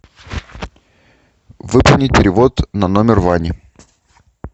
выполнить перевод на номер вани